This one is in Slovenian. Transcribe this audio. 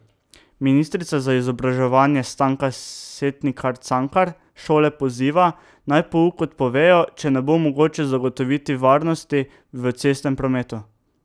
Ministrica za izobraževanje Stanka Setnikar Cankar šole poziva, naj pouk odpovejo, če ne bo mogoče zagotoviti varnosti v cestnem prometu.